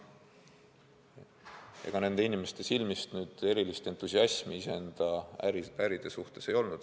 Ega nende inimeste silmis erilist entusiasmi oma äri suhtes ei olnud.